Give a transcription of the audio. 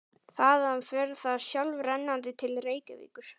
Þaðan fer það sjálfrennandi til Reykjavíkur.